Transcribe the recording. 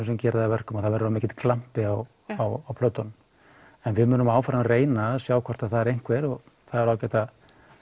sem gerir það að verkum að það verður of mikill glampi á á plötunum en við munum áfram reyna að sjá hvort það er einhver það er ágætt að